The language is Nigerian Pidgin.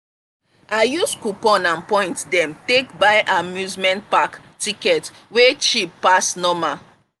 i use coupon and point dem take buy amusement park ticket wey cheap pass normal.